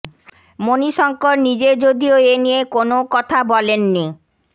মণিশঙ্কর নিজে যদিও এ নিয়ে কোনও কথা বলেননি